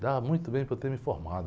Dava muito bem para eu ter me formado.